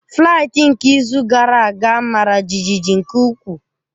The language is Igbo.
Flaịtị nke izu gara aga mara jijiji nke ukwuu.